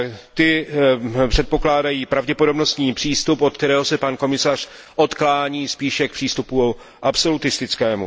Ty předpokládají pravděpodobnostní přístup, od kterého se pan komisař odklání spíše k přístupu absolutistickému.